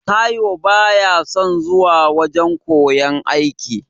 Taiwo baya son zuwa wajan koyan aiki.